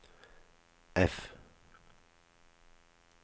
F